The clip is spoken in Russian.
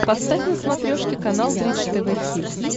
поставь на смотрешке канал бридж тв хитс